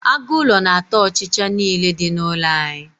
aguulo na ata ochicha n'ile di n'ulo anyi